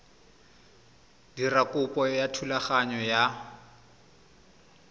dira kopo ya thulaganyo ya